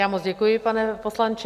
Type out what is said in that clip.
Já moc děkuji, pane poslanče.